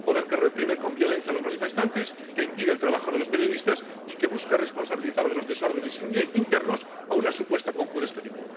un poder que reprime con violencia a los manifestantes, que impide el trabajo de los periodistas y que busca responsabilizar de los desórdenes internos a una supuesta conjura exterior